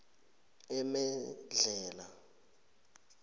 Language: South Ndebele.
emedlhela